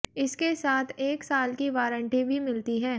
इसके साथ एक साल की वारंटी भी मिलती है